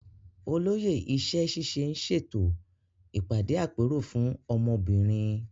Olóyè iṣẹ́ ṣíṣe ń ṣètò ìpàdé àpérò fún ọmọ obìnrin.